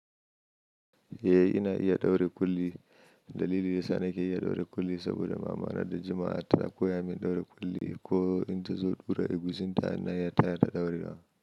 Eh ina iya ɗaure kulli. Dalili ya sa nake iya ɗaure kulli saboda mama na da jima'a ta koya min ɗaure kulli. Ko in ta zo ɓura egusi ta, ina iya taya ta ɗaurewa.